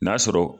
N'a sɔrɔ